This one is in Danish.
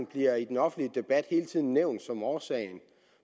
bliver i den offentlige debat hele tiden nævnt som årsagen